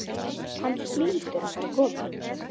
Hann hlýtur að fara að koma.